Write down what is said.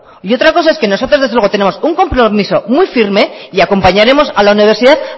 y otra cosa es que nosotros desde luego tenemos un compromiso muy firme y acompañaremos a la universidad